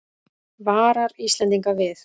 Varar Íslendinga við